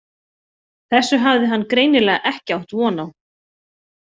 Þessu hafði hann greinilega ekki átt von á.